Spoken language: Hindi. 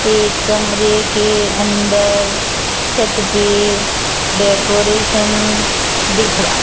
एक कमरे के अंदर छत पे डेकोरेशन दिख रहा --